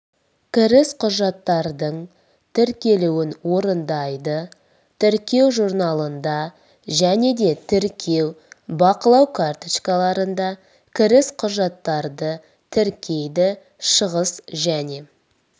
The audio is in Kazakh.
кіріс құжаттардың тіркелуін орындайды тіркеу журналында және де тіркеу бақылау карточкаларында кіріс құжаттарды тіркейді шығыс және